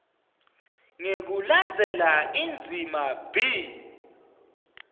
ngekulandzela indzima b